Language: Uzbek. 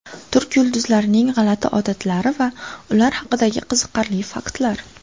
Turk yulduzlarining g‘alati odatlari va ular haqidagi qiziqarli faktlar.